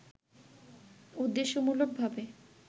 উদ্দেশ্যমূলক ভাবে